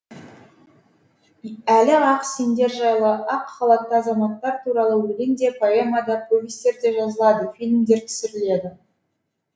әлі ақ сендер жайлы ақ халатты азаматтар туралы өлең де поэма да повестер де жазылады фильмдер түсіріледі